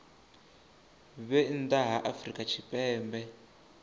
vhe nnḓa ha afrika tshipembe